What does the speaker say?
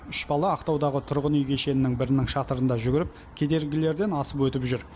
үш бала ақтаудағы тұрғын үй кешенінің бірінің шатырында жүгіріп кедергілерден асып өтіп жүр